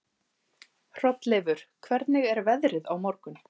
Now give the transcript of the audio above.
Hrolleifur, hvernig er veðrið á morgun?